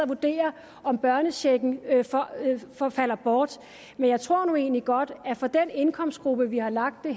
vurdere om børnechecken falder bort men jeg tror nu egentlig godt at det for den indkomstgruppe vi har lagt det